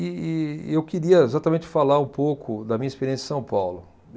E, e eu queria exatamente falar um pouco da minha experiência em São Paulo.